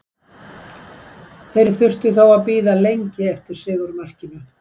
Þeir þurftu þó að bíða lengi eftir sigurmarkinu.